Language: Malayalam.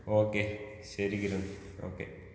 ഓക്കെ ശരി കിരൺ ഓക്കെ